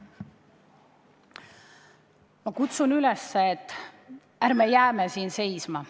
Ma kutsun üles, et ärme jääme siin seisma.